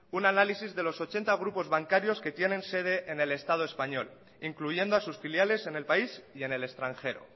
un análisis de los ochenta grupos bancarios que tienen sede en el estado español incluyendo a sus filiales en el país y en el extranjero